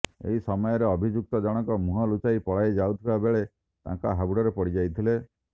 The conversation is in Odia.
ଏହି ସମୟରେ ଅଭିଯୁକ୍ତ ଜଣକ ମୁହଁ ଲୁଚାଇ ପଳାଇ ଯାଉଥିବା ବେଳେ ତାଙ୍କ ହାବୁଡରେ ପଡି ଯାଇଥିଲେ